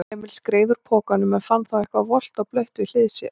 Emil skreið úr pokanum en fann þá eitthvað volgt og blautt við hlið sér.